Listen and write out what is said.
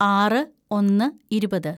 ആറ് ഒന്ന് ഇരുപത്‌